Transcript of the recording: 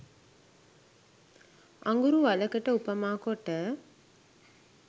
අඟුරු වළකට උපමා කොට